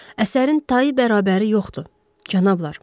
Əsərin tayı bərabəri yoxdur, cənablar.